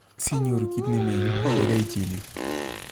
Sinyoru kit ne mi yu, gaigai ichil yu